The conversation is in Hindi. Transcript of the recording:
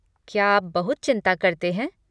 क्या आप बहुत चिंता करते हैं?